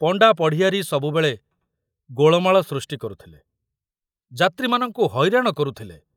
ପଣ୍ଡା ପଢ଼ିଆରୀ ସବୁବେଳେ ଗୋଳମାଳ ସୃଷ୍ଟି କରୁଥିଲେ, ଯାତ୍ରୀମାନଙ୍କୁ ହଇରାଣ କରୁଥିଲେ।